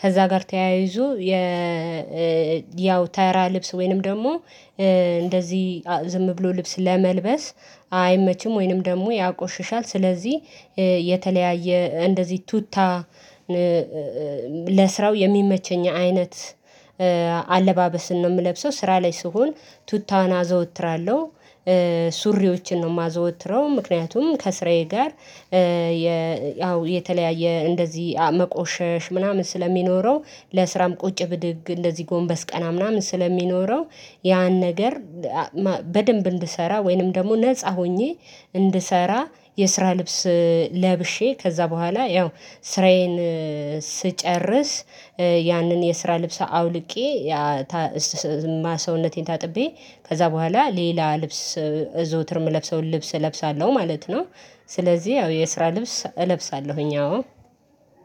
ከዛ ጋር ተያይዞ የ ያው ተራ ልብስ ወይንም ደሞ እንደዚህ ዝም ብሎ ልብስ ለመልበስ አይመችም ወይንም ደግሞ ያቆሽሻል ስለዚህ የተለያየ እንደዚህ ቱታ ለስራው የሚመቸኝ አይነት አለባበስን ነው የምለብሰው። ስራ ላይ ስሆን ቱታን አዘወትራለሁ ሱሪዎችን ነው የማዘወትረው። ምክንያቱም ከስራዬ ጋር የ ያው የተለያየ እንደዚህ መቆሸሽ ምናምን ስለሚኖረው ለስራም ቁጭ ብድግ እንደዚህ ጎንበስ ቀና ምናምን ስለሚኖረው ያን ነገር በደንብ እንድሰራ ወይንም ደግሞ ነፃ ሆኜ እንድሰራ የስራ ልብስ። ለብሼ ከዛ በኋላ ያው ስራዬን ስጨርስ ያንን የስራ ልብስ አውልቄ ማሰውነቴን ታጥቤ ከዛ በኋላ ሌላ ልብስ እዘውትር ምለብሰውን ልብስ እለብሳለሁ ማለት ነው። ስለዚህ ያው የስራ ልብስ እለብሳለሁኝ አዎ።